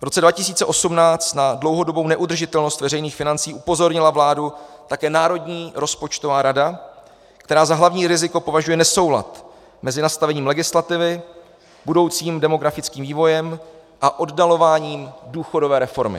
V roce 2018 na dlouhodobou neudržitelnost veřejných financí upozornila vládu také Národní rozpočtová rada, která za hlavní riziko považuje nesoulad mezi nastavením legislativy, budoucím demografickým vývojem a oddalováním důchodové reformy.